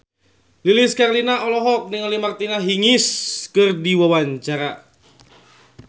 Lilis Karlina olohok ningali Martina Hingis keur diwawancara